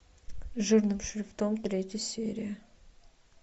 жирным шрифтом третья серия